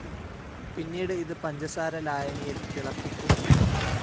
പിന്നീട് ഇത് പഞ്ചസാര ലായനിയിൽ തിളപ്പിക്കുന്നു.